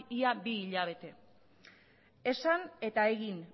ia bi hilabete esan eta egin